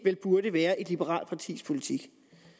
burde være et liberalt partis politik